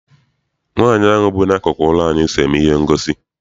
Nwaanyi ahụ bu n'akụkụ ụlọ anyị so eme ihe ngosi.